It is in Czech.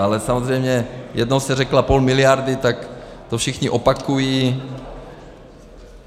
Ale samozřejmě, jednou se řeklo půl miliardy, tak to všichni opakují.